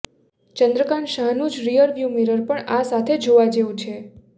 ચંદ્રકાંત શાહનું જ rear view mirror પણ આ સાથે જોવા જેવું છે